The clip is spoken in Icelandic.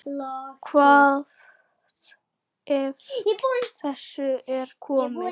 Hvað af þessu er komið?